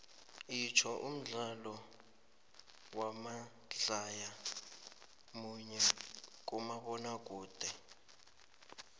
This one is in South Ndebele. itsho umdlalo wamadlaya munye kumabonakude